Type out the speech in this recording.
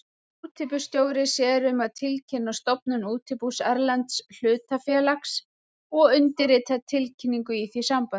Útibússtjóri sér um að tilkynna stofnun útibús erlends hlutafélags og undirritar tilkynningu í því sambandi.